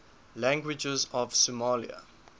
languages of somalia